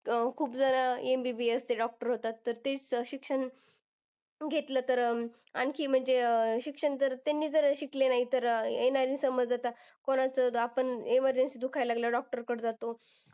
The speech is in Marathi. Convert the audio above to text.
खूप जण MBBS चे doctor होतात. तर ते शिक्षण अं घेतलं तर अह आणखी म्हणजे अं शिक्षण अह त्यांनी जर शिकले नाही तर, येणं समज आता कोणाचं आपण emergency दुखायला लागल्यावर doctor कड जातो.